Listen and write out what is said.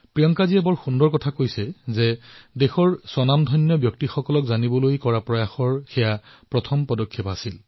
প্ৰিয়ংকাজীয়ে অতি সুন্দৰকৈ লিখিছে যে নিজৰ দেশৰ মহান বিভূতিসকলক জনাৰ ক্ষেত্ৰত এয়া তেওঁৰ প্ৰথমটো পদক্ষেপ আছিল